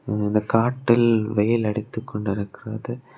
இந்த காட்டில் வெயில் அடித்துக் கொண்டிருக்கிறது.